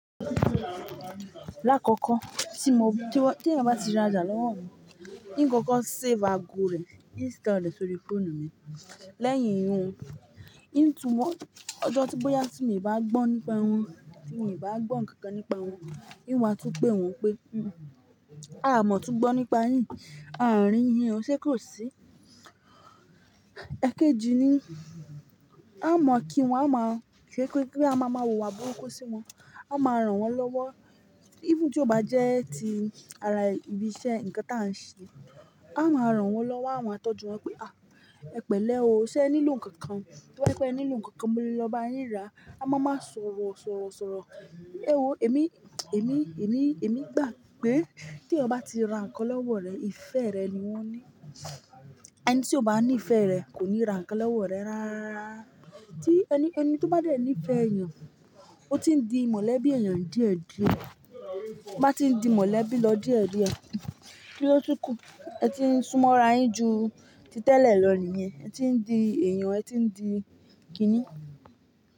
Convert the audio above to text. Lákòókò tí mo bí, tí wọ́n, tí eeyan bá ti rajà lọ́wọ́ mi, n koko save àago rẹ̀, n store rẹ̀ sórí fóònù mi. Lẹ́yìn ihun, ní n tún, ọjọ́ tí bóyá tí mi ò bá gbọ́n nípa eni, tí mii bá gbọ́ nkankan nípa wọn, n wàá tún pè wọ́n pé, "A mọ̀ tún gbo nípa yín, a rí yín o, ṣe kò sí?" Ẹ̀keji ni, a mọ̀ kí wọn, a máa ṣe pé kí a máa ma wùwà burúkú sí wọn. A máa ràn wọ́n lọ́wọ́. Even tí ó bá jẹ́ ti ara ibi iṣẹ́ nǹkan tí à ń ṣe, a máa ràn wọ́n lọ́wọ́, à maá tọ́jú won pé, "À, ẹ pẹ̀lẹ́ o, ṣé ẹ nílò nǹkan kan? To ba je pé ẹ nílò nǹkan kan, mo lè lọ bá yín ra." A máa máa sọ̀rọ̀ sọ̀rọ̀. E wọ èmi, èmi, èmi, èmi gbà pé tí eeyan bá ti ra nǹkan lọ́wọ́ rẹ, ìfẹ́ rẹ ni wọ́n ní. Ẹni tí ó bá ní ìfẹ́ rẹ kò ní ra nǹkan lọ́wọ́ rẹ rárá. Tí ẹni, ẹni tí ó bá dé ní ìfẹ́ ènìyàn, ó ti ń di mọ̀lẹ́bí ènìyàn díẹ̀ díẹ̀. To bá ti ń di mọ̀lẹ́bí lọ díẹ̀ díẹ̀, kin lo tun kú, ẹ ti ń súnmọ̀ rà á yín ju tí tẹ̀lé lọ nìyẹn. Ẹ ti ń di èèyàn, ẹ ti ń di kíní.